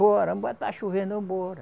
Bora, vamos embora está chovendo, vamos embora